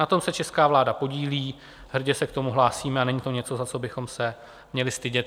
Na tom se česká vláda podílí, hrdě se k tomu hlásíme a není to něco, za co bychom se měli stydět.